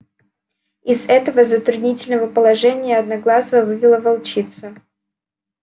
из этого затруднительного положения одноглазого вывела волчица